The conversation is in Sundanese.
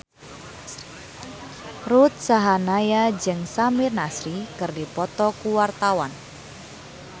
Ruth Sahanaya jeung Samir Nasri keur dipoto ku wartawan